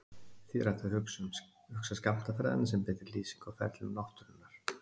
því er hægt að hugsa skammtafræðina sem betri lýsingu á ferlum náttúrunnar